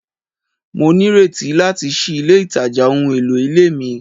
Mo nireti lati ṣii ile itaja ohun elo ile mi